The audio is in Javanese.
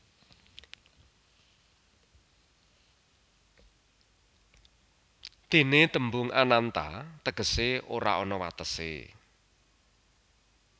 Déné tembung Ananta tegesé ora ana watesé